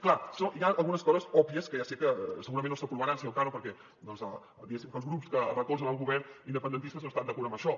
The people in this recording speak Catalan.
clar hi ha algunes coses òbvies que ja sé que segurament no s’aprovaran senyor cano perquè doncs diguéssim que els grups que recolzen el govern independentistes no estan d’acord amb això